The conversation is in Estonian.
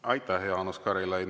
Aitäh, Jaanus Karilaid!